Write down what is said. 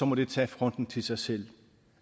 må de tage fronten til sig selv